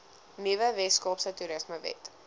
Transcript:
nuwe weskaapse toerismewet